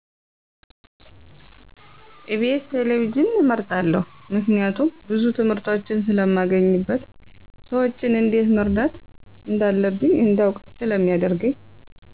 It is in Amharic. ኢቢኤስ ቴሌቪዥን እመርጣለሁ ምክንያቱ ብዙ ትምህርቶችን ስለማገኝበት ሰዎችን እንዴት መርዳት እንዳለብኝ እንዳውቅ ስለማደርገኝ